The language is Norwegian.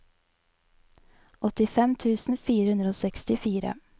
åttifem tusen fire hundre og sekstifire